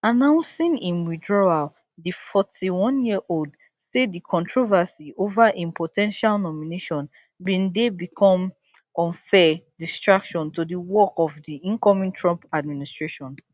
announcing im withdrawal di forty-oneyearold say di controversy over im po ten tial nomination bin dey become unfair distraction to di work of di incoming trump administration